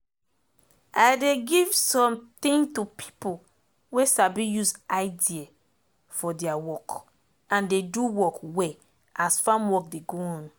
i dey give sometin to pipo wey sabi use idea for deir work and dey do work well as farm work dey go on